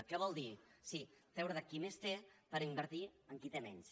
què vol dir sí treure de qui més té per invertir en qui té menys